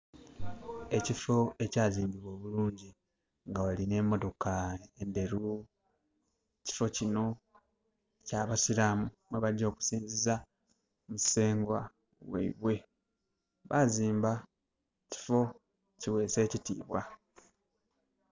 Ekiffo ekya zimbibwa obulungi nga wali ne motoka ndheru, ekiffo kino ekya basiraamu ghebagya okusinziza musengwa gheibwe. Bazimba ekiffo kighesa ekitibwa.